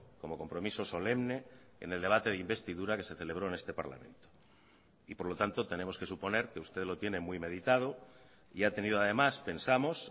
como compromiso solemne en el debate de investidura que se celebró en este parlamento y por lo tanto tenemos que suponer que usted lo tiene muy meditado y ha tenido además pensamos